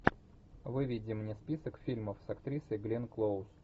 выведи мне список фильмов с актрисой гленн клоуз